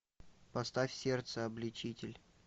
поставь сердце обличитель